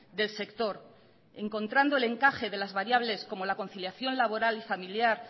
del sector encontrando el encaje de las variables como la conciliación laboral y familiar